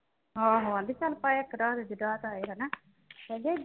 ਆਹੋ ਆਂਹਦੇ ਸਾਨੂੰ ਪਾਇਆ ਇੱਕ ਰਾਹ ਤੇ ਹਨਾ।